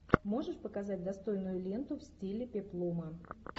можешь показать достойную ленту в стиле пеплума